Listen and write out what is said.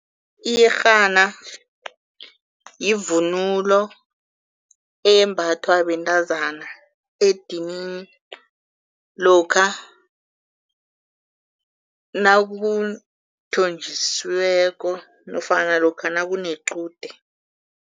Iyerhana yivunulo eyembathwa bentazana edinini lokha nakuthonjisweko nofana lokha nakunequde.